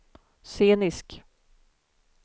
scenisk